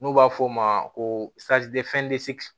N'u b'a fɔ o ma ko